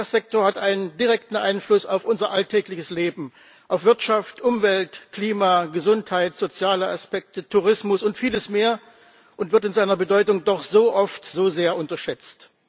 Der Verkehrssektor hat einen direkten Einfluss auf unser alltägliches Leben, auf Wirtschaft, Umwelt, Klima, Gesundheit, soziale Aspekte, Tourismus und vieles mehr und wird in seiner Bedeutung doch so oft so sehr unterschätzt.